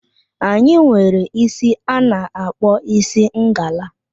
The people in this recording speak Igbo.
Anyị nwere isi a na-akpọ isi ngala.